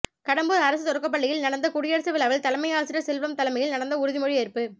கடம்பூர் அரசு தொடக்கப் பள்ளியில் நடந்த குடியரசு விழாவில் தலைமையாசிரியர் செல்வம் தலைமையில் நடந்த உறுதிமொழி ஏற்பு